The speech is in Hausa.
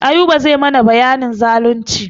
Ayuba zai mana bayanin zalunci.